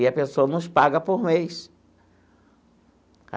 E a pessoa nos paga por mês.